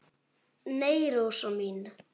Nei, Rósa mín.